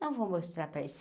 Não vou mostrar para